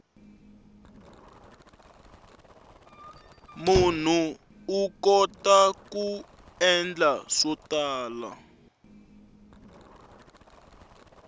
munhu u kota ku endla swo tala